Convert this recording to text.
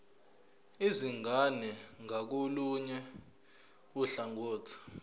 izingane ngakolunye uhlangothi